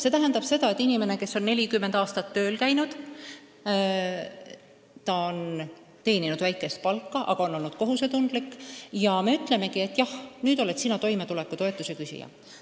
See tähendab seda, et inimene, kes on 40 aastat tööl käinud, aga teeninud vaatamata kohusetundlikkusele väikest palka, kuulebki meilt sõnu, et jah, nüüd oled sina toimetulekutoetuse küsija.